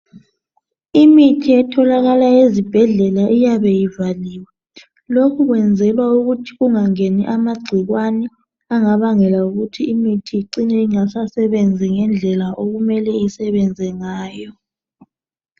imithi etholakala ezibhedlela iyabe ivaliwe lokhu kwenzelwa ukuthi kungangeni amagcikwani angabangela ukuthi imithi icine ingasasebenzi ngendlela okumele isebenze ngayo